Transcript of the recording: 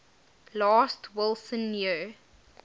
last wilson year